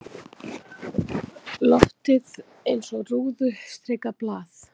Loftið eins og rúðustrikað blað.